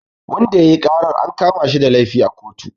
Wanda yayi karar an kamashi da laifi a kotu